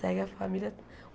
Segue a família.